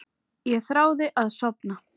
Ég þráði að sofna.